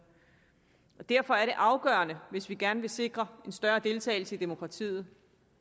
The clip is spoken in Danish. derfor er det afgørende hvis vi gerne vil sikre en større deltagelse i demokratiet